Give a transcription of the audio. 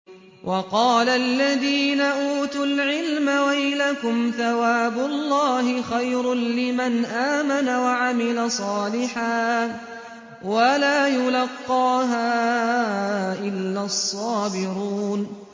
وَقَالَ الَّذِينَ أُوتُوا الْعِلْمَ وَيْلَكُمْ ثَوَابُ اللَّهِ خَيْرٌ لِّمَنْ آمَنَ وَعَمِلَ صَالِحًا وَلَا يُلَقَّاهَا إِلَّا الصَّابِرُونَ